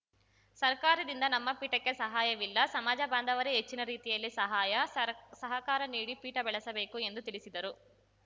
ಸರ್ಕಾರದಿಂದ ನಮ್ಮ ಪೀಠಕ್ಕೆ ಸಹಾಯವಿಲ್ಲ ಸಮಾಜ ಬಾಂಧವರೇ ಹೆಚ್ಚಿನ ರೀತಿಯಲ್ಲಿ ಸಹಾಯ ಸರ್ ಸಹಕಾರ ನೀಡಿ ಪೀಠ ಬೆಳೆಸಬೇಕು ಎಂದು ತಿಳಿಸಿದರು